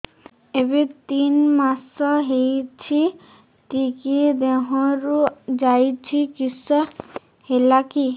ଏବେ ତିନ୍ ମାସ ହେଇଛି ଟିକିଏ ଦିହରୁ ଯାଉଛି କିଶ ହେଲାକି